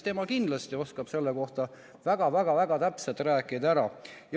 Tema kindlasti oskab sellest väga-väga täpselt rääkida.